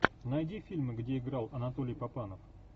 найди фильмы где играл анатолий папанов